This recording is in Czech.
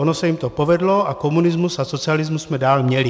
Ono se jim to povedlo a komunismus a socialismus jsme dál měli.